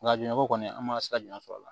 Nka jinɛ ko kɔni an ma se ka jumɛn sɔrɔ a la